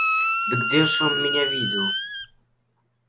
да где ж он меня видел